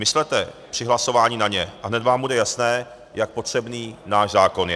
Myslete při hlasování na ně a hned vám bude jasné, jak potřebný náš zákon je.